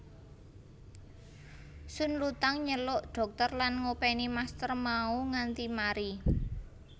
Sun Lutang nyelok dhokter lan ngopeni master mau nganti mari